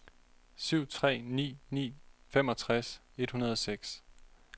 syv tre ni ni femogtres et hundrede og seks